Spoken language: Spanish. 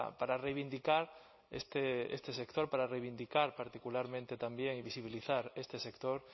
para reivindicar este sector para reivindicar particularmente también y visibilizar este sector